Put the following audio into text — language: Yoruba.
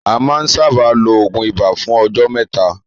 A má ń sábáà ló oògùn ibà fún ọjọ́ mẹ́ta.